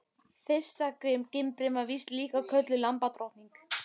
Fyrsta gimbrin var víst líka kölluð lambadrottning.